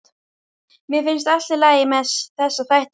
Mér finnst allt í lagi með þessa þætti, segir hún.